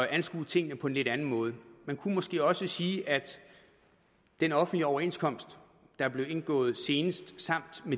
anskue tingene på en lidt anden måde man kunne måske også sige at den offentlige overenskomst der er blevet indgået senest samt